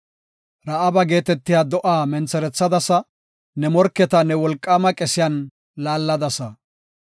Ra7aaba geetetiya do7a mentherethadasa; ne morketa ne wolqaama qesiyan laalladasa.